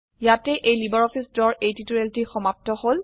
ইয়াতেই এই লাইব্ৰঅফিছ ড্ৰৰ এই টিউটোৰিয়েলটি সমাপ্ত হল